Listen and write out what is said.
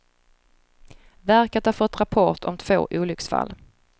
Verket har fått rapport om två olycksfall.